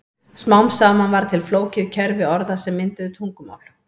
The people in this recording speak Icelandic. Smám saman varð til flókið kerfi orða sem mynduðu tungumál.